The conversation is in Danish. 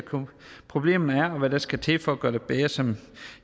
problemet er og hvad der skal til for at gøre det bedre som